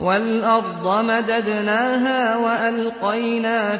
وَالْأَرْضَ مَدَدْنَاهَا وَأَلْقَيْنَا